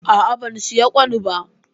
A'a, ban siyo ƙwan ba.